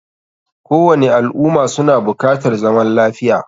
Kowani al umma suna bukatar zaman lafiya